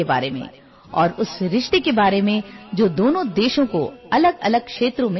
মই আপোনালোক সকলোৰে বাবে এটা সৰু অডিঅ' ক্লিপ আগবঢ়াইছো